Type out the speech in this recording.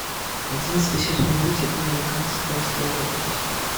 одиннадцатый сезон мультика американская история ужасов